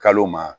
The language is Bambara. Kalo ma